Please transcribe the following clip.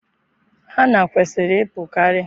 Hanna kwesịrị ịpụkarị.